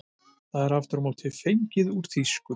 Það er aftur á móti fengið úr þýsku.